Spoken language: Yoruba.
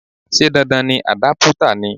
Ṣé dandan ni àdápútà ni?